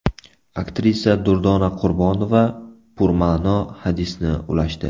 Aktrisa Durdona Qurbonova purma’no hadisni ulashdi.